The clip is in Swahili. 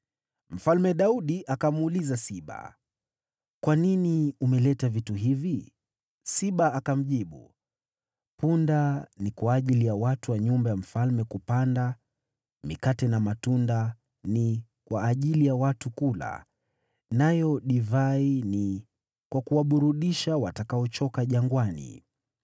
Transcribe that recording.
Mfalme Daudi akamuuliza Siba, “Kwa nini umeleta vitu hivi?” Siba akamjibu, “Punda ni kwa ajili ya watu wa nyumba ya mfalme kupanda, mikate na matunda ni kwa ajili ya watu kula, nayo divai ni kwa kuwaburudisha watakaochoka jangwani.”